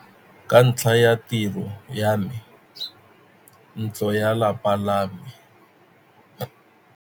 Ka ntlha ya tiro ya me, ntlo ya lapa la me.